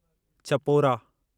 Chapora